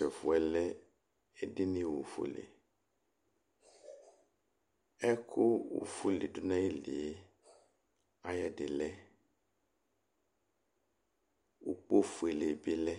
̧̈tu ɛfu yɛ lɛ edini ofuǝle , ɛku ofuǝ le du nayilie ayu ɛdilɛ, ukpo fuǝle bɩ lɛ,